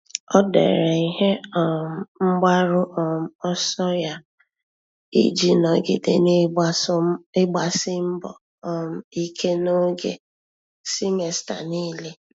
Ọ́ dèrè ihe um mgbaru um ọsọ ya iji nọ́gídé n’ị́gbàsí mbọ um ike n’ógè semester niile.